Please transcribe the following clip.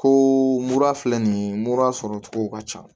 Ko mura filɛ nin mura sɔrɔcogo ka ca